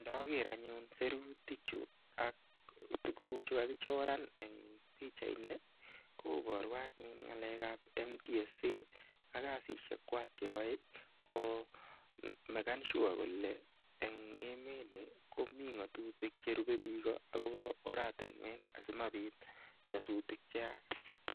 Ndoker anyun sirutik chu ak tuguk chu kagichoran en pichait ni koboru anyun ng'alek ab NTSA ak kasishek kwak cheyoe ko meken sure kole en emet ni komi ng'atutik che rupe biik agobo oratinwek asimabit nyasutik che yach.